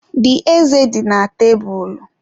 The ezé dị na tebụl.